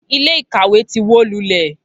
Ilé ìkàwé ti wó lulẹ̀